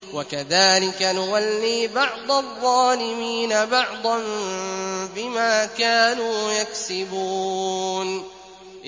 وَكَذَٰلِكَ نُوَلِّي بَعْضَ الظَّالِمِينَ بَعْضًا بِمَا كَانُوا يَكْسِبُونَ